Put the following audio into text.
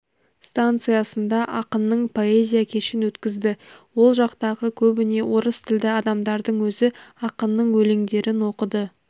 станциясында ақынның поэзия кешін өткізді ол жақтағы көбіне орыс тілді адамдардың өзі ақынның өлеңдерін оқыды